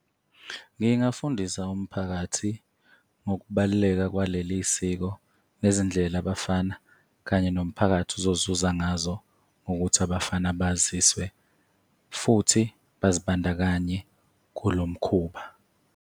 Ngingafundisa umphakathi ngokubaluleka kwaleli siko, nezindlela abafana kanye nomphakathi ozozuza ngazo ngokuthi abafana baziswe, futhi bazibandakanye kulo mkhuba.